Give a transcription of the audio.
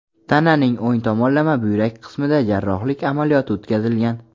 Tananing o‘ng tomonlama buyrak qismida jarrohlik amaliyoti o‘tkazilgan.